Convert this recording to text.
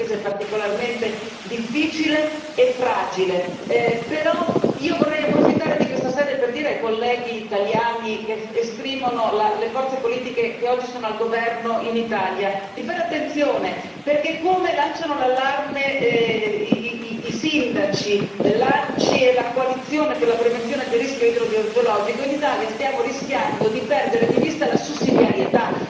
Il mio paese è particolarmente difficile e fragile, però io vorrei approfittare di questa sede per dire ai colleghi italiani che esprimono le forze politiche che oggi sono al governo in Italia, di fare attenzione, perché come lanciano l'allarme i sindaci, lanci la coalizione per la prevenzione del rischio idrogeologico, in Italia stiamo rischiando di perdere di vista la sussidiarietà.